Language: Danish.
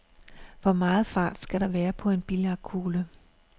Hvor meget fart skal der være på billiardkuglen?